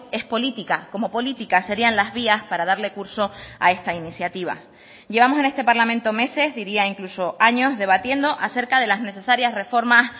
es política como políticas serían las vías para darle curso a esta iniciativa llevamos en este parlamento meses diría incluso años debatiendo acerca de las necesarias reformas